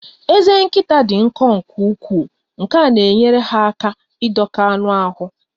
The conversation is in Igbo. Ezé nkịta dị nkọ nke ukwuu nke na-enyere ha aka ịdọka anụ ahụ